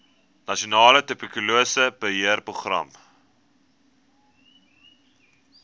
nasionale tuberkulose beheerprogram